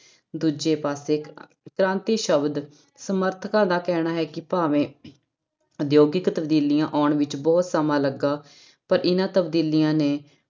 ਦੂਜੇ ਪਾਸੇ ਕ੍ਰਾਂਤੀ ਸ਼ਬਦ ਸਮਰਥਕਾਂ ਦਾ ਕਹਿਣਾ ਹੈ ਕਿ ਭਾਵੇਂ ਉਦਯੋਗਿਕ ਤਬਦੀਲੀਆਂ ਆਉਣ ਵਿੱਚ ਬਹੁਤ ਸਮਾਂ ਲੱਗਾ ਪਰ ਇਹਨਾਂ ਤਬਦੀਲੀਆਂ ਨੇ